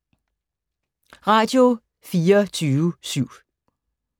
Radio24syv